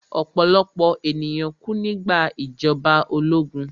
Ọ̀pọ̀lọ̀pọ̀ ènìyàn kú nígbà ìjọba ológun